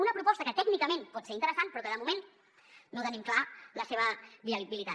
una proposta que tècnicament pot ser interessant però que de moment no tenim clara la seva viabilitat